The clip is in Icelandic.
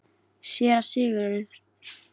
SÉRA SIGURÐUR: Nú skall hurð nærri hælum.